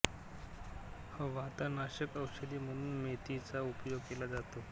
वातनाषक औषधी म्हणून मेथी चा उपयोग केला जातो